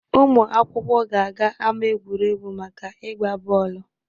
Ụmụ akwụkwọ ga-aga ama egwuregwu maka ịgba bọọlụ.